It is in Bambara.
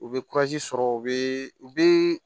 U bɛ sɔrɔ u bɛ u bɛ